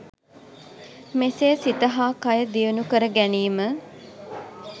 මෙසේ සිත හා කය දියුණු කර ගැනීම